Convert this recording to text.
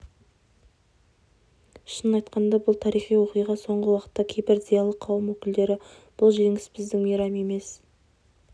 шынын айтқанда бұл тарихи оқиға соңғы уақытта кейбір зиялы қауым өкілдері бұл жеңіс біздің мейрам емес